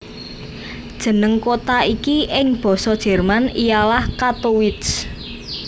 Jeneng kota iki ing Basa Jerman ialah Kattowitz